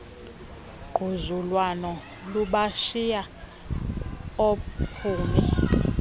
ngquzulwano lubashiya oophumi